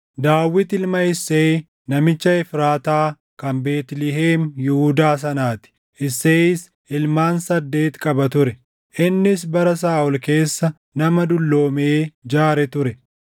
Daawit ilma Isseeyi namicha Efraataa kan Beetlihem Yihuudaa sanaa ti. Isseeyis ilmaan saddeeti qaba ture; innis bara Saaʼol keessa nama dulloomee jaare ture.